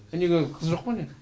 неге қыз жоқ па не